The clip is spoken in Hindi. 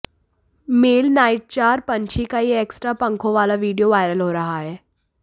मेल नाइटजार पंछी का ये एक्स्ट्रा पंखों वाला वीडियो वायरल हो रहा है